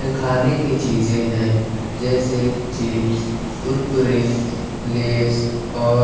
खाने की चीज हैं जैसे चिप्स कुरकुरे लेस और--